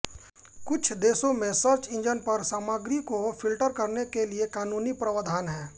कुछ देशों में सर्च इंजन पर सामग्री को फिल्टर करने के लिए कानूनी प्रवधान हैं